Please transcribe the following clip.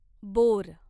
bore